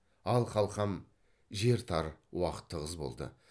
ал қалқам жер тар уақыт тығыз болды